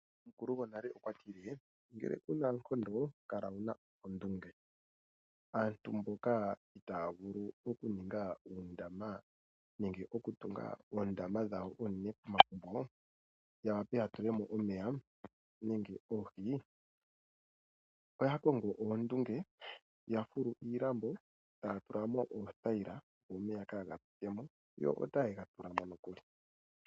Omukulo gonale okwa tile ngele ku na oonkondo kala wu na oondunge. Aantu mboka itaya vulu okuninga oondama nenge okutunga oondama dhawo oonene pomagumbo ya wape ya tule mo omeya nenge oohi, oya kongo oondunge ya fulu iilambo e taya tula mo oothayila, opo omeya kaaga pwine mo yo otaye ga tula mo nokuli.